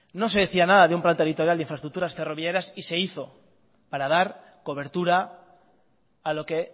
no se decía nada de un plan territorial de infraestructuras ferroviarias y se hizo para dar cobertura a lo que